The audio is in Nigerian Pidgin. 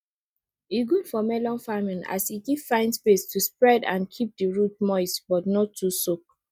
e good for melon farming as e give vine space to spread and keep di root moist but no too soak